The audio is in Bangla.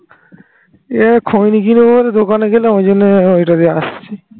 এই খইনি কিনে পরে দোকানে গেলাম ওই জন্য ওইটা দিয়ে আসছি